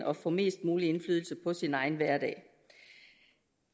og får mest mulig indflydelse på sin egen hverdag